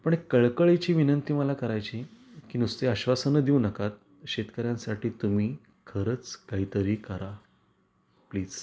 पण एक कळकळीची विनंती मला करायची की नुसती आश्वासन देऊ नका शेतकर्यांसाठी तुम्ही खरंच काहीतरी करा प्लीज.